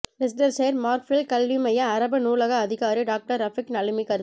Leicestershire Markfield கல்விமைய அரபி நூலக அதிகாரி டாக்டர் ரஃபீக் நலிமி கருத்து